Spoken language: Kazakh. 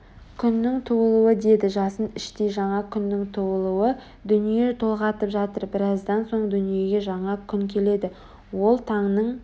күннің туылуы деді жасын іштей жаңа күннің туылуы дүние толғатып жатыр біраздан соң дүниеге жаңа күн келеді ол таңның